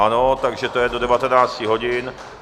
Ano, takže to je do 19 hodin.